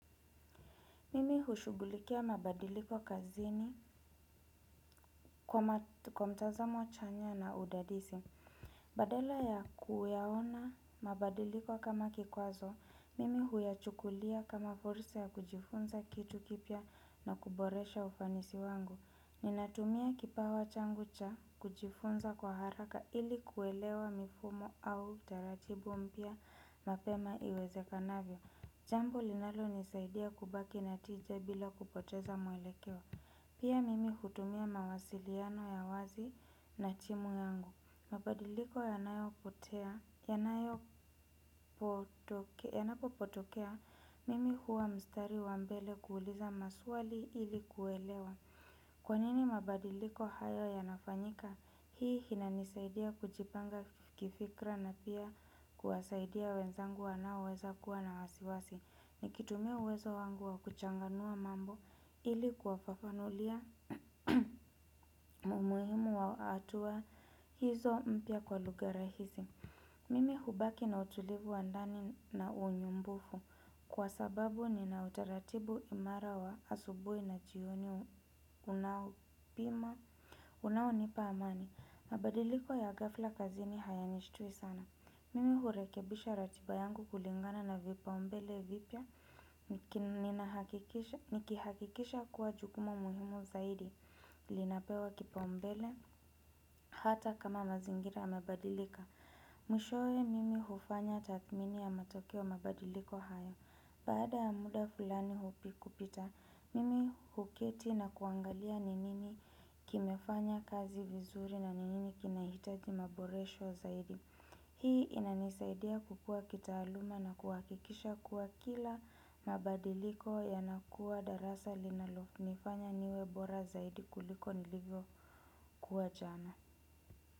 Mimi hushugulikia mabadiliko kazini kwa mtazamo chanya na udadisi. Badala ya kuyahona mabadiliko kama kikwazo, mimi huyachukulia kama fursa ya kujifunza kitu kipya na kuboresha ufanisi wangu. Ninatumia kipawa changu cha kujifunza kwa haraka ili kuelewa mifumo au taratibu mpya mapema iweze kanavyo. Jambo linalo nisaidia kubaki natinja bila kupoteza muelekeo. Pia mimi hutumia mawasiliano ya wazi na timu yangu. Mabadikiko yanapotokea mimi huwa mstari wa mbele kuuliza maswaki ili kuelewa. Kwanini mabadiliko hayo ya nafanyika, hii hina nisaidia kujipanga kifikra na pia kuwasaidia wenzangu waonaweza kuwa na wasiwasi. Nikitumia uwezo wangu wa kuchanganua mambo ili kuwa fafanulia umuhimu wa hatua hizo mpya kwa lugha rahisi. Mimi hubaki na utulivu wa ndani na unyumbufu kwa sababu ni na utaratibu imara wa asubui na jioni unaopima. Unao nipa amani. Mabadiliko ya ghafla kazini haya nishtui sana. Mimi hurekebisha ratiba yangu kulingana na vipaumbele vipya nikihakikisha kuwa jukumu muhimu zaidi linapewa kipaumbele hata kama mazingira amebadilika. Mwishoe mimi hufanya tathmini ya matokeo mabadiliko haya. Baada ya muda fulani hupi kupita, mimi huketi na kuangalia ni nini kimefanya kazi vizuri na ni nini kinahitaji maboresho zaidi. Hii inanisaidia kupua kitaaluma na kuhakikisha kuwa kila mabadiliko ya nakuwa darasa linalonifanya niwebora zaidi kuliko nilivyo kuwa jana.